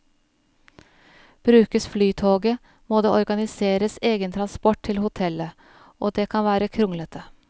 Brukes flytoget, må det organiseres egen transport til hotellet, og det kan være kronglete.